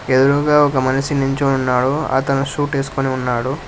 ఎదురుగా ఒక మనిషి నించొని ఉన్నాడు అతను సూట్ ఏసుకొని ఉన్నాడు.